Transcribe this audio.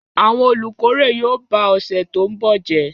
Àwọn olùkórè yóò ba ọ̀sẹ̀ tó ń bọ̀ jẹ́.